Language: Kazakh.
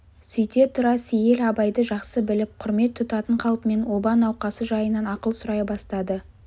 сөйте тұра сейіл абайды жақсы біліп құрмет тұтатын қалпымен оба науқасы жайынан ақыл сұрай бастады